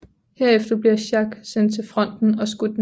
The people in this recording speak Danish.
Herefter bliver Jacques sendt til fronten og skudt ned